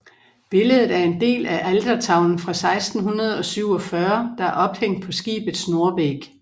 Billedet er en del af altertavlen fra 1647 der er ophængt på skibets nordvæg